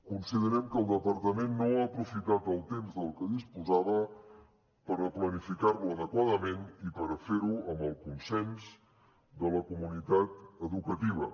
considerem que el departament no ha aprofitat el temps del que disposava per planificar lo adequadament i per fer ho amb el consens de la comunitat educativa